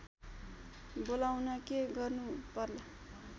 बोलाउन के गर्नु पर्ला